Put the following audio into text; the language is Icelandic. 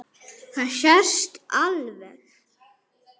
Það sést alveg.